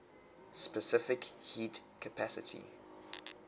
specific heat capacity